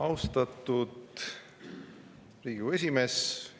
Austatud Riigikogu esimees!